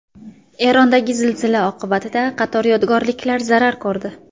Erondagi zilzila oqibatida qator yodgorliklar zarar ko‘rdi.